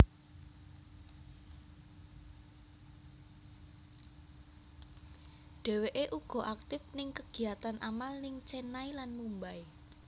Dheweké uga aktif ning kegiyatan amal ning Chennai lan Mumbai